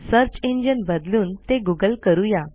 search engine बदलून ते Google करू या